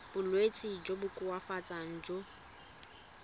bolwetsi jo bo koafatsang jo